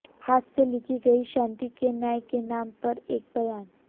हाथ से लिखी गई शांति के न्याय के नाम पर एक बयान